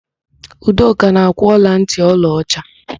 Udoka na-akwụ ọlantị ọlaọcha.